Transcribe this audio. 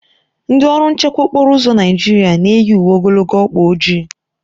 Ndị ọrụ nchekwa okporo ụzọ Naijiria na-eyi uwe ogologo ọkpa ojii.